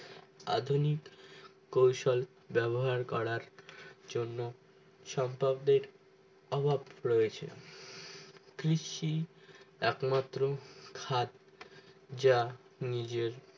আধুনিক কৈশল ব্যাবহার করার জন্য সম্পর্বিক অভাব রয়েছে কৃষি একমাত্র খাদ যা নিজের